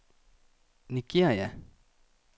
Nigeria